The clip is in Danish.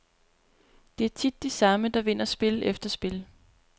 Det er tit de samme, der vinder spil efter spil.